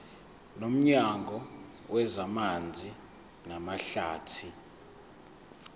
nomnyango wezamanzi namahlathi